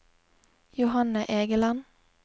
Johanne Egeland